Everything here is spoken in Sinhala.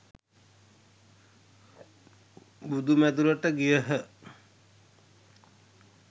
බුදු මැඳුරට ගියහ